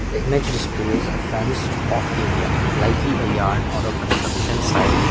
the image displays a fenced off area likely a yard or a construction site.